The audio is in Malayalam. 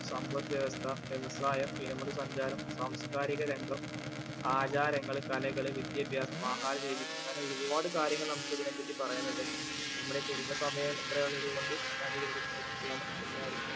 സമ്പദ്‌വ്യവസ്ഥ, വ്യവസായം, വിനോദസഞ്ചാരം, സാംസ്‌കാരിക രംഗം, ആചാരങ്ങൾ, കലകൾ, വിദ്യാഭ്യാസം, ആഹാരരീതി, അങ്ങനെ ഒരുപാട് കാര്യങ്ങൾ നമുക്ക് ഇതിനെപറ്റി പറയാനുണ്ട് നമ്മുടെ കുറഞ്ഞ സമയം ഇത്ര ആയതുകൊണ്ട് ഞാൻ ഇവിടെ നിർത്തുകയാണ് എല്ലാവര്ക്കും